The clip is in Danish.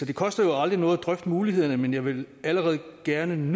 det koster jo aldrig noget at drøfte mulighederne men jeg vil allerede nu gerne